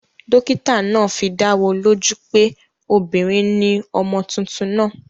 Dókítà naa fidáwo lójú pé obìnrin ni ọmọ tuntun naa